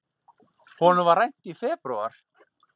Honum var rænt í febrúar.